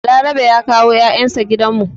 Balarabe ya kawo 'ya'yan shi gidan mu.